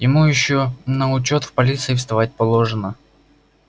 ему ещё на учёт в полиции вставать положено